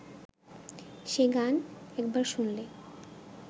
সে গান একবার শুনলে